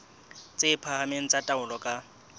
tse phahameng tsa taolo ka